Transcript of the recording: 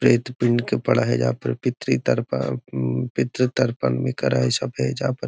प्रेत पिंड के परहेजा पर पितृ पितृ तर्पण भी करए हेय सब ऐजा पर।